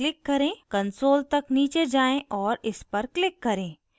console तक नीचे जाएँ और इस पर click करें